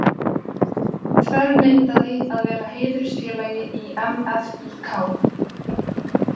Þverneitaði að vera heiðursfélagi í MFÍK.